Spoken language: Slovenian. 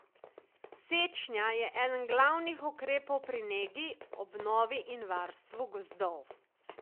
Sečnja je eden glavnih ukrepov pri negi, obnovi in varstvu gozdov.